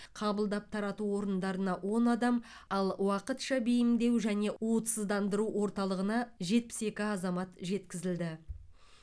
қабылдап тарату орындарына он адам ал уақытша бейімдеу және уытсыздандыру орталығына жетпіс екі азамат жеткізілді